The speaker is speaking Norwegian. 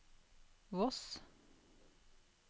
Voss